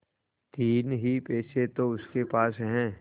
तीन ही पैसे तो उसके पास हैं